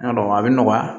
Yɔrɔ a bɛ nɔgɔya